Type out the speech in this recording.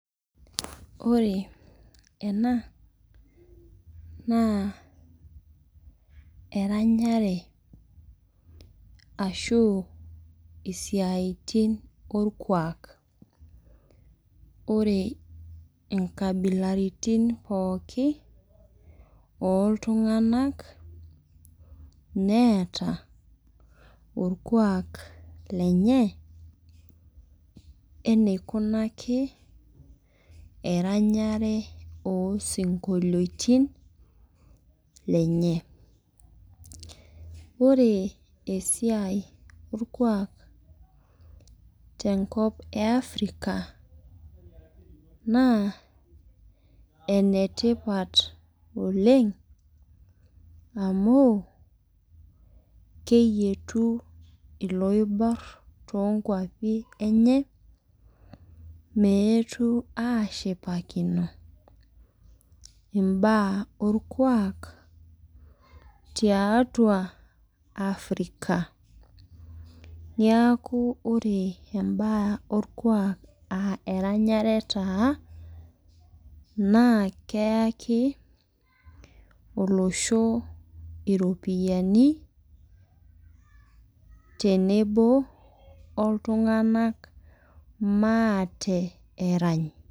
Ore ena, naa eranyare ashu isiaitin orkuak. Ore inkabilaritin pookin, oltung'anak, neeta orkuak lenye, eneikunaki eranyare osinkolioitin, lenye. Ore esiai orkua tenkop e Africa, naa enetipat oleng, amu keyietu iloibor tonkwapi enye, meetu ashipakino, imbaa orkuak tiatua Africa. Niaku ore imbaa orkuak ah eranyare taa, naa keaki olosho iropiyiani, tenebo oltung'anak maate erany.